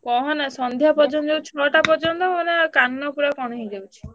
କହନା ସନ୍ଧ୍ୟା ପର୍ଯ୍ୟନ୍ତ ଏଇ ଛଅ ଟା ପର୍ଯ୍ୟନ୍ତ ମାନେ କାନ ପୁରା କଣ ହେଇ ଯାଉଛି।